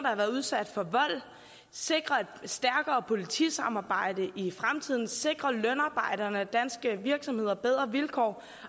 har været udsat for vold sikre et stærkere politisamarbejde i fremtiden sikre lønarbejderne og danske virksomheder bedre vilkår